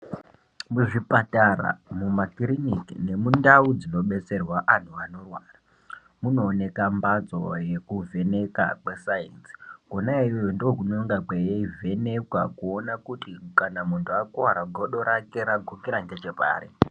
Muzvipatara mumakiriniki nemundau dzinobetserwa anhu anorwara, munooneka mbatso yekuvheneka kweSainzi. Kona iyoyo ndookunonga kweivhenekwa kuona kuti kana muntu akuwara godo rake ragukira ngechepari.